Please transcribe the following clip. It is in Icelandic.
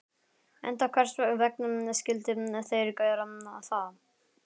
Enda hvers vegna skyldu þeir gera það?